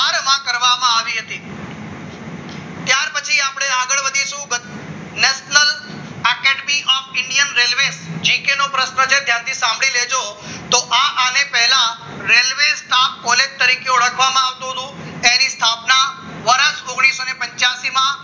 national academy of Indian railway GK નો પ્રશ્ન છે ધ્યાનથી સાંભળી લેજો તો આ આને પહેલા રેલવે ઓળખવામાં આવતી હતી એને સ્થાપના વર્ષ ઓગણીસોને પાંચિયાસી માં